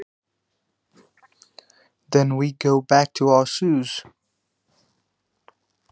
Síðan förum við aftur í skóna.